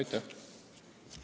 Aitäh!